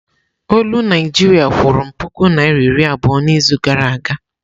Olu Naịjiria kwụrụ m puku naịra iri abụọ n'izu gara aga.